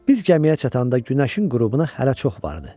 Biz gəmiyə çatanda günəşin qürubuna hələ çox vardı.